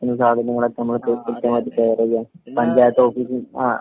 കിട്ടുന്ന സാദനങ്ങളൊക്കെ നമ്മള് ആഹ് കൃത്യമായിട്ടും ഷെയറിയ്യാ എല്ലാ ആഹ് പഞ്ചായത്ത് ഓഫീസിൽ ആഹ്